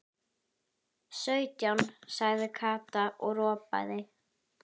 Sautján sagði Kata og ropaði.